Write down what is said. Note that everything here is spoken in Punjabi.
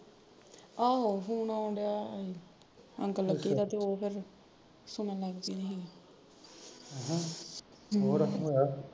ਆਹੋ ਫੂਨ ਆਉਣ ਡਿਆ ਸੀ uncle aunty ਦਾ ਤੇ ਉਹ ਫਿਰ ਸੁਣਨ ਲੱਗਪੀ ਸੀਗੀ